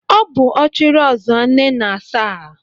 Ọ bụ Ọchịrị Ọzụọ Nnenasaa.